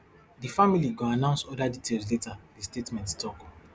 di family go announce oda details later di statement tok